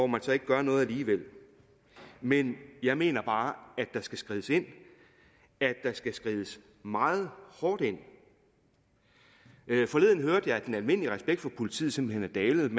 man så ikke gør noget alligevel men jeg mener bare at der skal skrides ind at der skal skrides meget hårdt ind forleden hørte jeg at den almindelige respekt for politiet simpelt